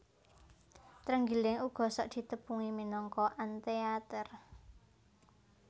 Trenggiling uga sok ditepungi minangka anteater